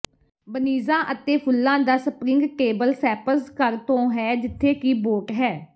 ਬਨੀਜ਼ਾਂ ਅਤੇ ਫੁੱਲਾਂ ਦਾ ਸਪਰਿੰਗ ਟੇਬਲਸੈਪਜ਼ ਘਰ ਤੋਂ ਹੈ ਜਿੱਥੇ ਕਿ ਬੋਟ ਹੈ